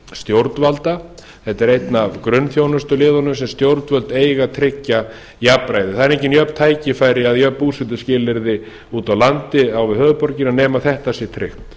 stjórnvalda þetta er einn af grunnþjónustuliðunum sem stjórnvöld eiga að tryggja jafnræðið það eru engin jöfn tækifæri eða jöfn búsetuskilyrði úti á landi á við höfuðborgina nema þetta sé tryggt